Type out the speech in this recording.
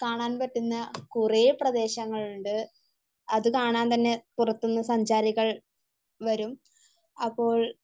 കാണാൻ പറ്റുന്ന കുറേ പ്രദേശങ്ങളുണ്ട്. അത് കാണാൻ തന്നെ പുറത്ത്ന്ന് സഞ്ചാരികൾ വരും. അപ്പോൾ